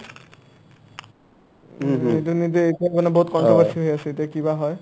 এইটো নিদিয়ে ইটো মানে বহুত controversy হৈ আছে এতিয়া কি বা হয় ?